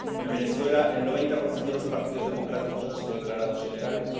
En Venezuela, el 90 de los partidos democráticos han sido declarados ilegales.